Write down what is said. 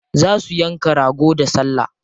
Za su yanka rago da salla.